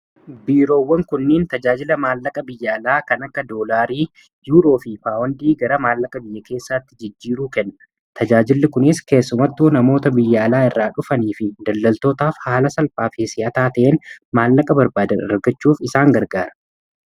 biiroowwan kunniin tajaajila maallaqa biyyaalaa kan akka doolaarii yuuroo fi paawandi gara maallaqa biyya keessaatti jijjiiruu kanna. tajaajilli kunis keessumattuu namoota biyya alaa irraa dhufanii fi daldaltootaaf haala salphaafi si, ataa ta'een maallaqa barbaadandargachuuf isaan gargaara.